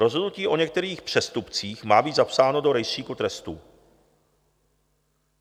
Rozhodnutí o některých přestupcích má být zapsáno do rejstříku trestů.